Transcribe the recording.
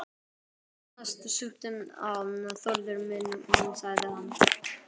Hérna, súptu á, Þórður minn sagði hann.